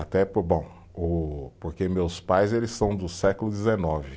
Até por bom, o, porque meus pais eles são do século dezenove.